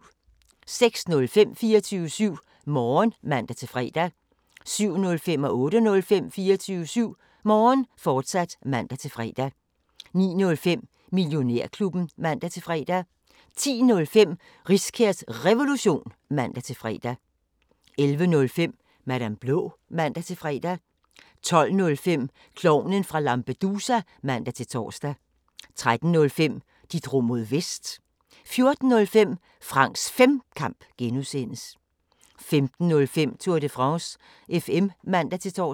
06:05: 24syv Morgen (man-fre) 07:05: 24syv Morgen, fortsat (man-fre) 08:05: 24syv Morgen, fortsat (man-fre) 09:05: Millionærklubben (man-fre) 10:05: Riskærs Revolution (man-fre) 11:05: Madam Blå (man-fre) 12:05: Klovnen fra Lampedusa (man-tor) 13:05: De drog mod Vest 14:05: Franks Femkamp (G) 15:05: Tour de France FM (man-tor)